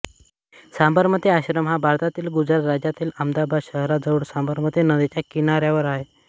साबरमती आश्रम हा भारतातील गुजरात राज्यातील अमदावाद शहराजवळ साबरमती नदीच्या किनाऱ्यावर आहे